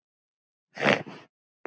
Anna Dóra!